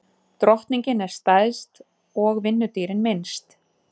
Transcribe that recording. Drottningin er stærst og vinnudýrin minnst.